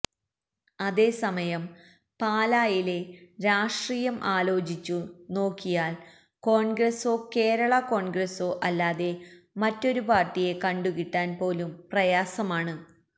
അതേസമയം പാലായിലെ രാഷ്ട്രീയം ആലോചിച്ചു നോക്കിയാല് കോണ്ഗ്രസോ കേരളാ കോണ്ഗ്രസോ അല്ലാതെ മറ്റൊരു പാര്ട്ടിയെ കണ്ടു കിട്ടാന് പോലും പ്രയാസമാണ്